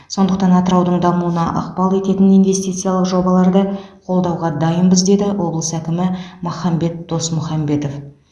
сондықтан атыраудың дамуына ықпал ететін инвестициялық жобаларды қолдауға дайынбыз деді облыс әкімі махамбет досмұхамбетов